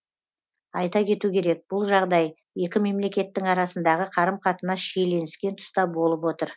айта кету керек бұл жағдай екі мемлекеттің арасындағы қарым қатынас шиленіскен тұста болып отыр